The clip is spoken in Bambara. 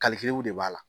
de b'a la